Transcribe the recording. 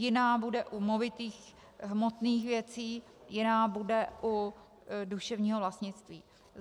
Jiná bude u movitých hmotných věcí, jiná bude u duševního vlastnictví.